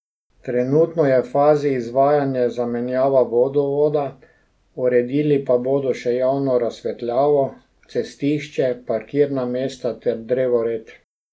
Trenutno je v fazi izvajanja zamenjava vodovoda, uredili pa bodo še javno razsvetljavo, cestišče, parkirna mesta ter drevored.